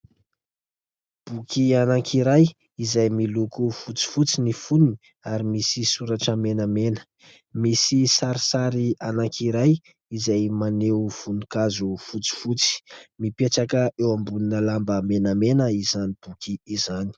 Boky anankiray izay miloko fotsifotsy ny fonony, ary misy soratra menamena. Misy sarisary anankiray izay maneho voninkazo fotsifotsy. Mipetraka eo ambonina lamba menamena izany boky izany.